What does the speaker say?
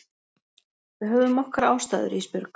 Við höfðum okkar ástæður Ísbjörg.